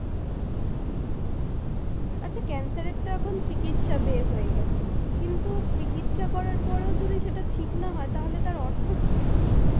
আচ্ছা cancer এর তো এখন চিকিৎসা বের হয়ে গেছে, কিন্তু চিকিৎসা করার পর ও যদি সেটা ঠিক না হয়ে তাহলে তার অর্থ কি থাকলো?